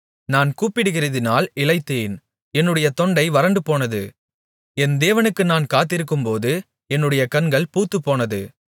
நான் கூப்பிடுகிறதினால் இளைத்தேன் என்னுடைய தொண்டை வறண்டுபோனது என் தேவனுக்கு நான் காத்திருக்கும்போது என்னுடைய கண்கள் பூத்துப்போனது